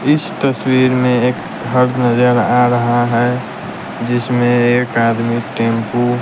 इस तस्वीर में एक घर नजर आ रहा है जिसमें एक आदमी टैंपू --